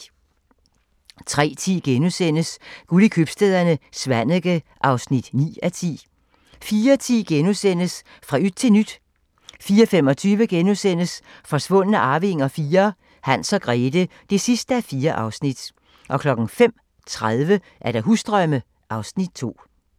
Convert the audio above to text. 03:10: Guld i købstæderne - Svaneke (9:10)* 04:10: Fra yt til nyt * 04:25: Forsvundne arvinger IV: Hans og Grethe (4:4)* 05:30: Husdrømme (Afs. 2)